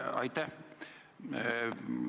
Aitäh!